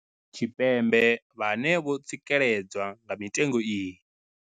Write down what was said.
Tshipembe vhane vho tsikeledzwa nga mitengo iyi.